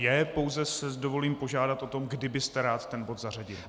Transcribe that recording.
Je, pouze si dovolím požádat o to, kdy byste rád ten bod zařadil.